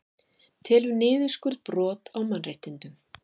Telur niðurskurð brot á mannréttindum